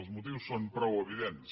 els motius són prou evidents